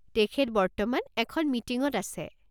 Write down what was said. তেখেত বৰ্তমান এখন মিটিঙত আছে।